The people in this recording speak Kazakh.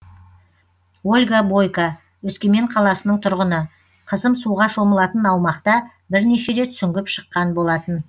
ольга бойка өскемен қаласының тұрғыны қызым суға шомылатын аумақта бірнеше рет сүңгіп шыққан болатын